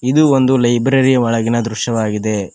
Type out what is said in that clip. ಇದು ಒಂದು ಲೈಬ್ರರಿ ಯ ಒಳಗಿನ ದೃಶ್ಯವಾಗಿದೆ.